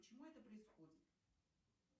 почему это происходит